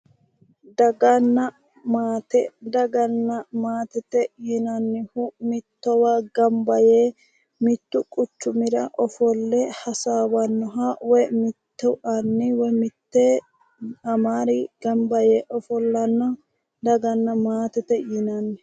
Daganna maate yinannihu mittowa ganba yee mittu quchumita ofolle hasaawannoha mittu aniri woyi mitte amari ganba yee ofollanoha daganna maatete yinanni